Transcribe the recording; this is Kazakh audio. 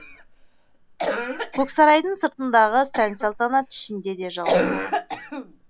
көксарайдың сыртындағы сән салтанат ішінде де жалғасты